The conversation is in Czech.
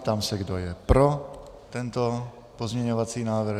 Ptám se, kdo je pro tento pozměňovací návrh.